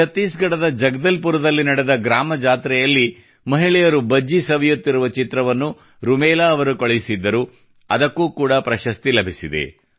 ಛತ್ತೀಸ್ಗಢದ ಜಗದಲ್ಪುರದಲ್ಲಿ ನಡೆದ ಗ್ರಾಮ ಜಾತ್ರೆಯಲ್ಲಿ ಮಹಿಳೆಯರು ಭಜಿ ಸವಿ ಸವಿಯುತ್ತಿರುವ ಚಿತ್ರವನ್ನು ರುಮೇಲಾ ಅವರು ಕಳುಹಿಸಿದ್ದರು ಅದಕ್ಕೆ ಕೂಡ ಪ್ರಶಸ್ತಿ ಲಭಿಸಿದೆ